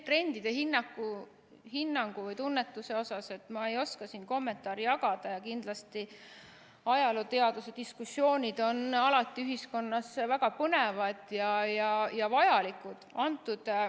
Trendide hinnangu või tunnetuse kohta ma ei oska siin kommentaare jagada ja kindlasti ajalooteaduse diskussioonid on alati ühiskonnas väga põnevad ja vajalikud.